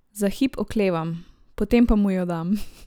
Za hip oklevam, potem pa mu jo dam.